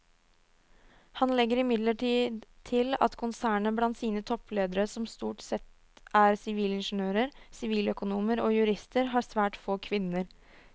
Han legger imidlertid til at konsernet blant sine toppledere som stort sette er sivilingeniører, siviløkonomer og jurister har svært få kvinner.